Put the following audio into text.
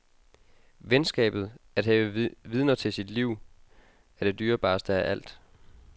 Venskabet, at have vidner til sit liv, er det dyrebareste af alt.